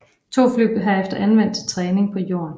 To fly blev herefter anvendt til træning på jorden